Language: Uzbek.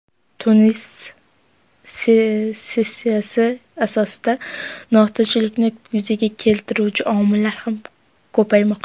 Tunis ssenariysi asosida notinchlikni yuzaga keltiruvchi omillar ham ko‘paymoqda.